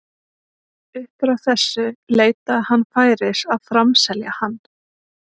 Upp frá þessu leitaði hann færis að framselja hann.